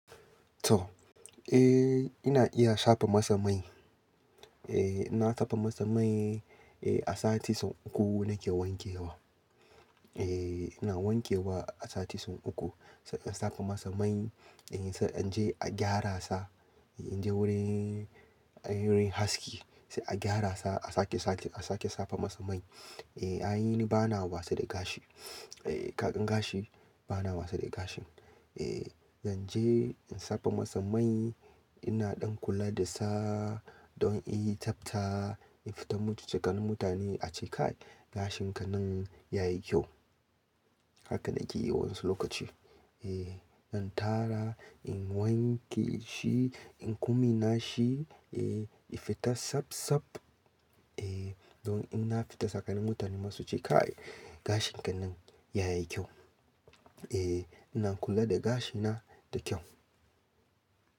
To, eh ina iya shafa masa mai. Eh ina safa masa mai eh a sati sau uku nake wankewa. Eh ina wanke wa a sati sau uku. Sai in safa masa mai, eh sai an je a gyara sa. In je wurin, wurin haski sai a gyara sa a sake, sake, a sake safa masa mai. Eh ai ni bana wasa da gashi. Eh kagan gashi bana wasa da gashin. Eh zan je in safa masa mai. Ina dan kula da sa don in yi tafta, in fita mu ci tsakanin mutane a ce kai gashin ka nan ya yi kyau. Haka nake yi wasu lokaci. Eh zan tara, in wanke shi, in kuma na shi eh ifita saf saf. Eh don in na fita tsakanin mutane masu ce kai gashin ka nan ya yi kyau. Eh ina kula da gashina da kyau.